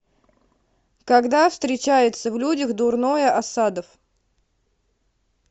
когда встречается в людях дурное асадов